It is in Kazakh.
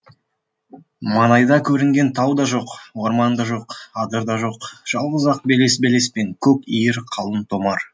маңайда көрінген тау да жоқ орман да жоқ адыр да жоқ жалғыз ақ белес белес пен көк иір қалың томар